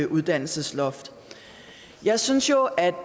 uddannelsesloft jeg synes jo at